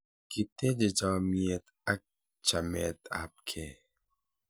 kiteje chamiet ak chamet ab kee